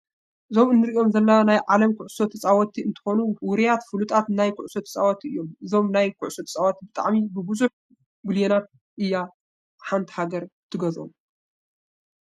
እዞም እንሪኦም ዘለና ናይ ዓለም ኩዕሶ ተፃወትቲ እንትኮኑ ዉሩያትን ፍሉጣትን ናይ ኩዕሶ ተፃወትቲ እዮም። እዞም ናይ ኩዕሶ ተፃወትቲ ብጣዕሚ ብቡዙሕ ብልየናት እያ ሓንቲ ሃገር ትገዝኦም።